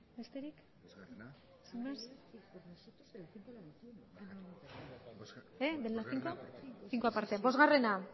besterik cinco aparte bostgarrena